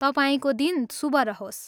तपाईँको दिन शुभ रहोस्।